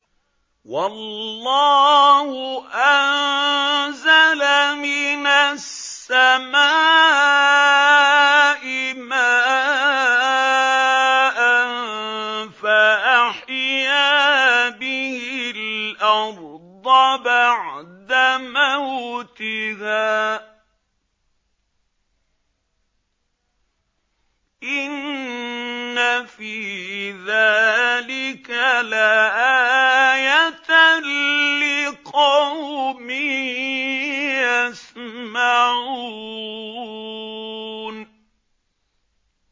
وَاللَّهُ أَنزَلَ مِنَ السَّمَاءِ مَاءً فَأَحْيَا بِهِ الْأَرْضَ بَعْدَ مَوْتِهَا ۚ إِنَّ فِي ذَٰلِكَ لَآيَةً لِّقَوْمٍ يَسْمَعُونَ